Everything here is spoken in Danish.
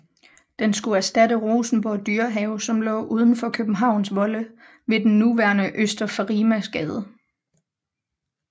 Den skulle erstatte Rosenborg Dyrehave som lå udenfor Københavns volde ved den nuværende Øster Farimagsgade